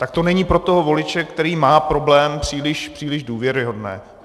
Tak to není pro toho voliče, který má problém, příliš důvěryhodné.